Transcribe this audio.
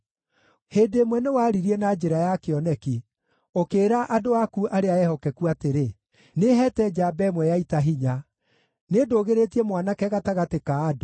Hĩndĩ ĩmwe nĩwaririe na njĩra ya kĩoneki, ũkĩĩra andũ aku arĩa ehokeku atĩrĩ, “Nĩheete njamba ĩmwe ya ita hinya; nĩndũgĩrĩtie mwanake gatagatĩ ka andũ.